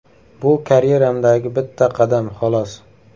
Bu karyeramdagi bitta qadam, xolos.